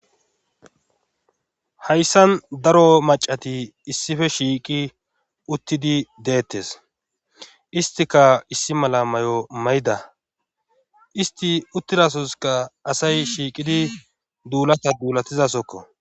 hayssan daro macati issippe shiiqi uttidii deettes istika issi mala may'o may'da isti uttidasoykka asay shiiqidii duulata duulatizasokko